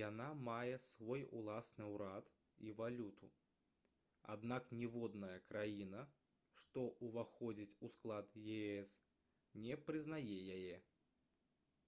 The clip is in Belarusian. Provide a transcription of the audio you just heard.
яна мае свой ўласны ўрад і валюту аднак ніводная краіна што ўваходзіць у склад ес не прызнае яе